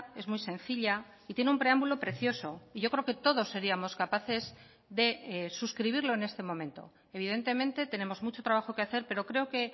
es muy sencilla y tiene un preámbulo precioso y yo creo que todos seríamos capaces de suscribirlo en este momento evidentemente tenemos mucho trabajo que hacer pero creo que